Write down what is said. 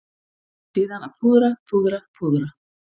Síðan að púðra, púðra, púðra.